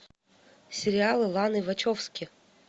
сериалы ланы вачовски